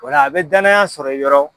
O la, a bɛ dananaya sɔrɔ i yɔrɔ.